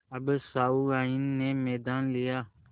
अब सहुआइन ने मैदान लिया